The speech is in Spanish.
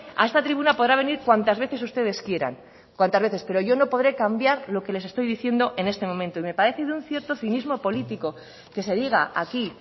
a esta tribuna podrá venir cuantas veces ustedes quieran cuantas veces pero yo no podre cambiar lo que les estoy diciendo en este momento y me parece de un cierto cinismo político que se diga aquí